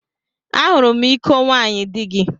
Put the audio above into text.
Ahụrụ m iko nwaanyị di gị.